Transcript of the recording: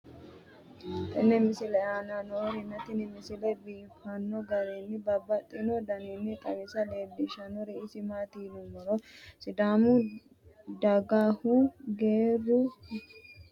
tenne misile aana noorina tini misile biiffanno garinni babaxxinno daniinni xawisse leelishanori isi maati yinummoro sidaamu dagahu geeru huluuqa waanna eara daanni noohu leelanni noo yaatte